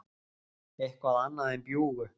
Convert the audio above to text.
eitthvað annað en bjúgu.